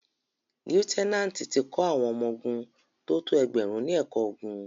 Lieutẹ́nátì ti kọ́ àwọn ọmọ ogun tó tó ẹgbẹ̀rún ní ẹ̀kọ́ ogun.